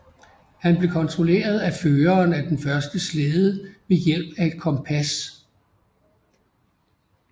Han blev kontrolleret af føreren af den første slæde ved hjælp af et kompas